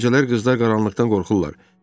Gecələr qızlar qaranlıqdan qorxurlar.